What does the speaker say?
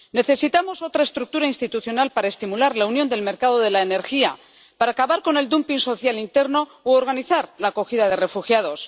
Necesitamos otra estructura institucional para estimular la unión del mercado de la energía, para acabar con el dumping social interno u organizar la acogida de refugiados.